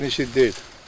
Bir nəfər işi deyil.